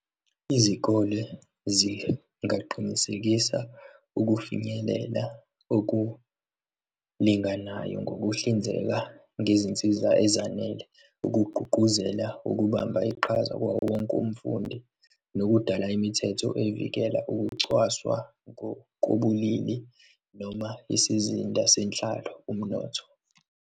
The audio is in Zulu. Izikole zingaqinisekisa ukufinyelela okulinganayo ngokuhlinzeka ngezinsiza ezanele, ukugqugquzela ukubamba iqhaza kwawowonke umfundi nokudala imithetho ezivikela ukucwaswa ngokobulili noma isizinda senhlalo, umnotho.